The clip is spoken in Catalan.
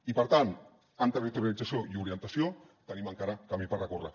i per tant en territorialització i orientació tenim encara camí per recórrer